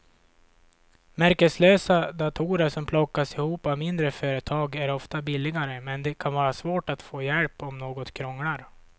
Märkeslösa datorer som plockas ihop av mindre företag är ofta billigare men det kan vara svårt att få hjälp om något krånglar.